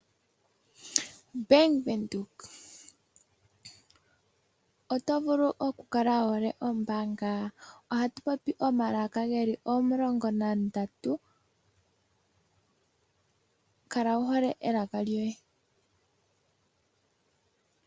Bank Windhoek! Oto vulu okukala wuhole ombaanga? Ohatu popi omalaka geli omulongo na ndatu, kala wuhole elaka lyoye.